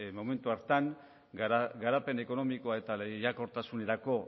momentu horretan garapen ekonomikoa eta lehiakortasunerako